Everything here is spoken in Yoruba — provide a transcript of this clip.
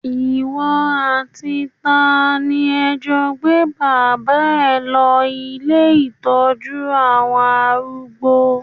Ìwọ àti ta ni ẹ jọ gbé bàbá ẹ lọ ilé ìtọ́jú àwọn arúgbó?